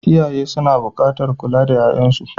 Iyaye suna buƙatar kula da 'ya'yansu.